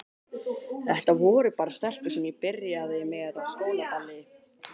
Þetta voru bara stelpur sem ég byrjaði með á skólaballi.